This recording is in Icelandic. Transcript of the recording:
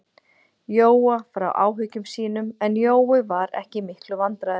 Jóa frá áhyggjum sínum, en Jói var ekki í miklum vandræðum.